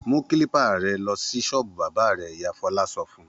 Mú kílípà rẹ lọ sí ṣọ́ọ́bù bábà rẹ̀! Ìyá Fọlá sọ fún un.